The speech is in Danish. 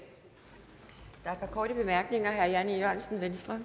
folk vil vende sig